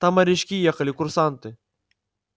там морячки ехали курсанты